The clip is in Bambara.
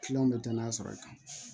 bɛ danaya sɔrɔ i kan